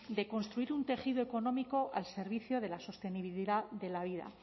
de construir un tejido económico al servicio de la sostenibilidad de la vida